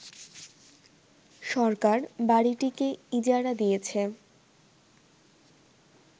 সরকার বাড়িটিকে ইজারা দিয়েছে